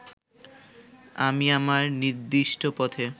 আমি আমার নিদিষ্ট পথে